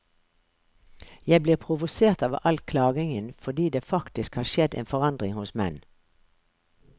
Jeg blir provosert av all klagingen fordi det faktisk har skjedd en forandring hos menn.